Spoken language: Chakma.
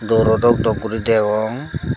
doro dok dok gori degong.